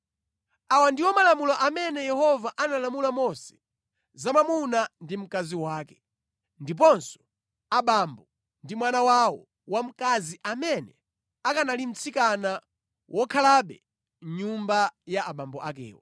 Awa ndiwo malamulo amene Yehova analamula Mose za mwamuna ndi mkazi wake, ndiponso abambo ndi mwana wawo wamkazi amene akanali mtsikana wokhalabe mʼnyumba ya abambo akewo.